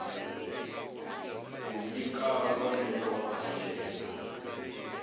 ku nyika vonelo ra yena